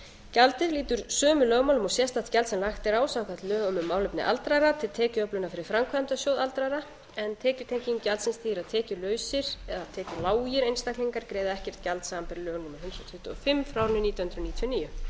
gjaldið lýtur sömu lögmálum og sérstakt gjald sem lagt er á samkvæmt lögum um málefni aldraðra til tekjuöflunar fyrir framkvæmdasjóð aldraðra en tekjutenging gjaldsins þýðir að tekjulausir eða tekjulágir einstaklingar greiða ekkert gjald samanber lög númer hundrað tuttugu og fimm nítján hundruð níutíu og níu